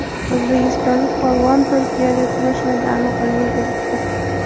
O‘zbekistonlik polvon Turkiyada kumush medalni qo‘lga kiritdi.